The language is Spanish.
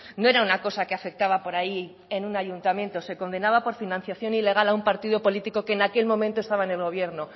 no era una cosa que afectaba por ahí en un ayuntamiento se condenaba por financiación ilegal a un partido político que en aquel momento estaba en el gobierno